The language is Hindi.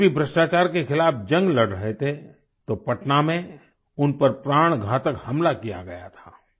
जब जे० पी० भ्रष्टाचार के खिलाफ़ जंग लड़ रहे थे तो पटना में उन पर प्राणघातक हमला किया गया था